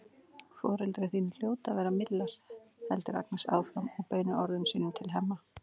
Foreldrar þínir hljóta að vera millar, heldur Agnes áfram og beinir orðum sínum til Hemma.